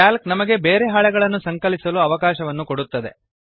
Calc ನಮಗೆ ಬೇರೆ ಹಾಳೆಗಳನ್ನು ಸಂಕಲಿಸಲು ಅವಕಾಶವನ್ನು ಕೊಡುತ್ತದೆ